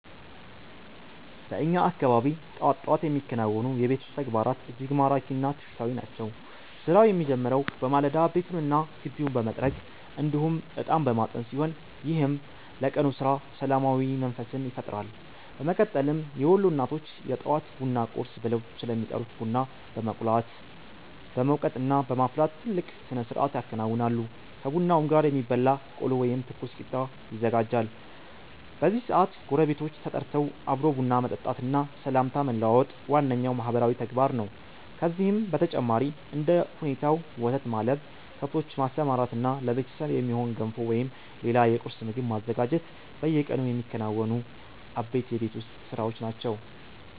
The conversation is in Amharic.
በእኛ አካባቢ ጠዋት ጠዋት የሚከናወኑ የቤት ውስጥ ተግባራት እጅግ ማራኪ እና ትውፊታዊ ናቸው። ስራው የሚጀምረው በማለዳ ቤቱንና ግቢውን በመጥረግ እንዲሁም እጣን በማጠን ሲሆን፣ ይህም ለቀኑ ስራ ሰላማዊ መንፈስን ይፈጥራል። በመቀጠልም የወሎ እናቶች የጠዋት ቡናን 'ቁርስ' ብለው ስለሚጠሩት ቡና በመቁላት፣ በመውቀጥና በማፍላት ትልቅ ስነስርዓት ያከናውናሉ። ከቡናውም ጋር የሚበላ ቆሎ ወይም ትኩስ ቂጣ ይዘጋጃል። በዚህ ሰዓት ጎረቤቶች ተጠርተው አብሮ ቡና መጠጣትና ሰላምታ መለዋወጥ ዋነኛው ማህበራዊ ተግባር ነው። ከዚህም በተጨማሪ እንደ ሁኔታው ወተት ማለብ፣ ከብቶችን ማሰማራትና ለቤተሰብ የሚሆን ገንፎ ወይም ሌላ የቁርስ ምግብ ማዘጋጀት በየቀኑ የሚከናወኑ አበይት የቤት ውስጥ ስራዎች ናቸው።